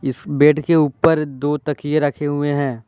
Bed के ऊपर दो तकिये रखे हुए हैं।